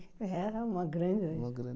Era uma grande. Uma grande